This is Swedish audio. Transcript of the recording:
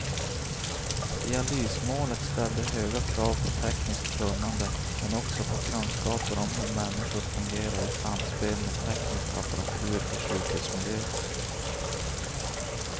Dialysmålet ställde höga krav på tekniskt kunnande men också på kunskaper om hur människor fungerar i samspel med teknisk apparatur i sjukhusmiljö.